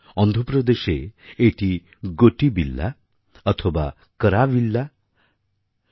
অন্ধ্রপ্রদেশে এটি গোটিবিল্লা অথবা কর্যাবিল্লা নামে পরিচিত